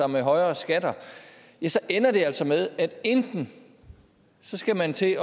med højere skatter så ender det altså med at enten skal man til